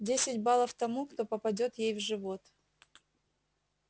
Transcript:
десять баллов тому кто попадёт ей в живот